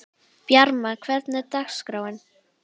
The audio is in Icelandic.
Bjarma, hvernig er dagskráin?